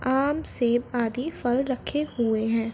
आम सेब आदि फल रखे हुए हैं।